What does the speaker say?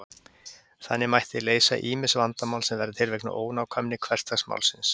Þannig mætti leysa ýmis vandamál sem verða til vegna ónákvæmni hversdagsmálsins.